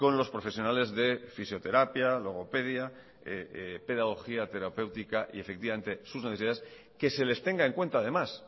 los profesionales de fisioterapia logopedia pedagogía terapéutica y efectivamente sus necesidades que se les tenga en cuenta además